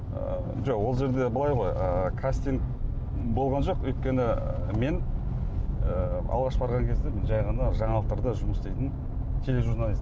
ы жоқ ол жерде былай ғой ы кастинг болған жоқ өйткені мен і алғаш барған кезде жай ғана жаналықтарда жұмыс істейтін тележурналист